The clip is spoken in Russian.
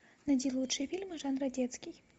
найди лучшие фильмы жанра детский